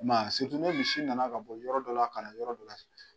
ni misi nana ka bɔ yɔrɔ dɔ la ka na yɔrɔ dɔ la.